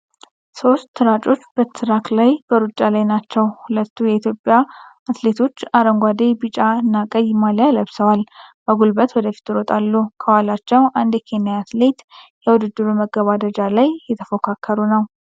ሶስት ሯጮች በትራክ ላይ በሩጫ ላይ ናቸው። ሁለቱ የኢትዮጵያ አትሌቶች አረንጓዴ፣ ቢጫ እና ቀይ ማሊያ ለብሰዋል፣ በጉልበት ወደፊት ይሮጣሉ። ከኋላቸው አንድ የኬንያ አትሌት የውድድሩን መገባደጃ ላይ እየተፎካከሩ ነው።